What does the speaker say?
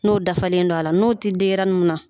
N'o dafalen don a la n'o tɛ denɲɛrɛnin min na